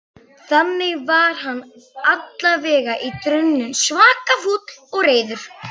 Þannig var hann allavega í draumnum, svaka fúll og reiður.